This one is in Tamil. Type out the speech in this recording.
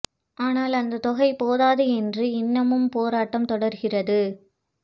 ஆனால் அந்த தொகை போதாது என்று இன்னமும் போராட்டம் தொடர்கிறது